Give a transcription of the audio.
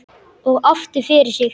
Og aftur fyrir sig.